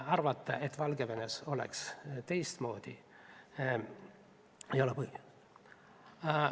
Arvata, et Valgevenes oleks teistmoodi, ei ole põhjust.